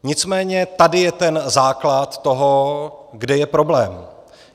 Nicméně tady je ten základ toho, kde je problém.